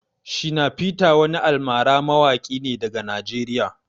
Shina peter wani almara mawaki ne daga Najeriya.